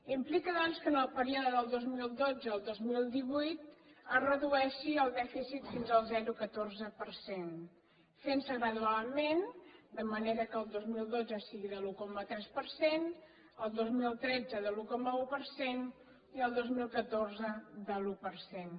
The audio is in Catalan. implica doncs que en el període del dos mil dotze al dos mil divuit es redueixi el dèficit fins al zero coma catorze per cent fentse gradualment de manera que el dos mil dotze sigui de l’un coma tres per cent el dos mil tretze de l’un coma un per cent i el dos mil catorze de l’un per cent